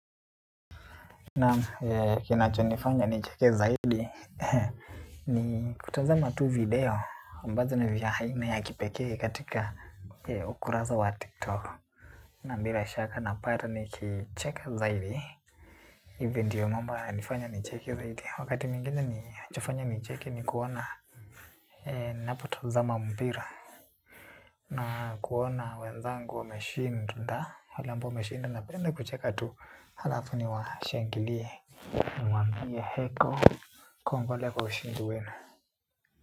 Na kinachonifanya nicheke zaidi ni kutazama tu video ambazo na vya haina ya kipekee katika ukuraza wa tiktok. Na bila shaka napata nikicheka zaidi Event yu mambo yalifanya nicheke zaidi wakati mwingine nifanya nicheke ni kuona. Napotazama mbira na kuona wenzangu wameshinda, halafu wameshinda, napenda kucheka tu, halafu niwashangilie. Mwambie heko, kongole kwa ushindi wenu.